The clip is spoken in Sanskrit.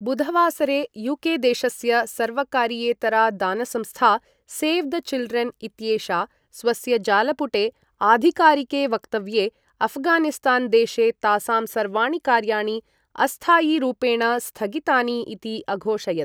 बुधवासरे, यूके देशस्य सर्वकारीयेतरा दानसंस्था 'सेव् द चिल्ड्रेन्' इत्येषा स्वस्य जालपुटे आधिकारिके वक्तव्ये, अफगानिस्तान् देशे तासां सर्वाणि कार्याणि अस्थायीरूपेण स्थगितानि इति अघोषयत्।